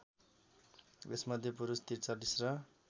यसमध्ये पुरुष ४३ र